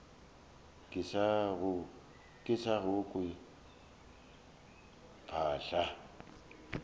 ke sa go kwe phaahla